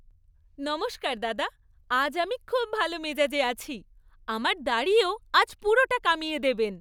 নমস্কার দাদা। আজ আমি খুব ভালো মেজাজে আছি। আমার দাড়িও আজ পুরোটা কামিয়ে দেবেন।